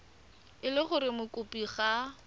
e le gore mokopi ga